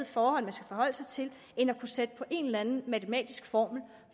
forhold man skal forholde sig til end at kunne sætte det på en eller anden matematisk formel